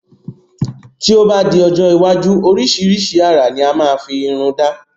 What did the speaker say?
Tí o ba di ọjọ́ iwájú orisirisi àrà ni a máa fi Irun da